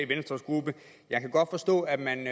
venstres gruppe jeg kan godt forstå at man